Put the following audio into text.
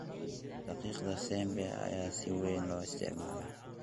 Daqiiqda Sembe ayaa si weyn loo isticmaalaa.